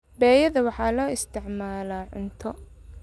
Beeyada waxaa loo isticmaalaa cunto.